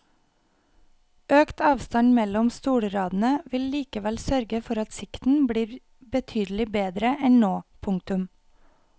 Økt avstand mellom stolradene vil likevel sørge for at sikten blir betydelig bedre enn nå. punktum